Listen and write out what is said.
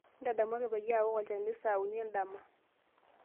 ntadamuaki peyie awok olchani saa uni endama